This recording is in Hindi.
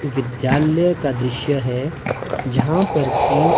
विद्यालय का दृश्य है जहाँ पर की--